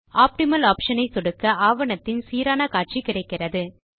optimal optionஐ சொடுக்க ஆவணத்தின் சீரான காட்சி கிடைக்கிறது